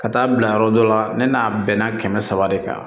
Ka taa bila yɔrɔ dɔ la ne n'a bɛnna kɛmɛ saba de kan